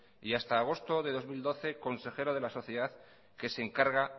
y hasta agosto del mil doce consejero de la sociedad que se encarga